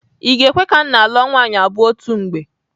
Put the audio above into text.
I ga-ekwe ka nna lụọ nwaanyị abụọ otu mgbe?